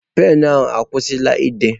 Penụ ahụ ọkwụsịla ide?